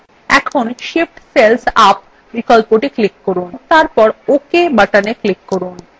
এখন shift cells up বিকল্পটি click করুন এবং তারপর ok button click করুন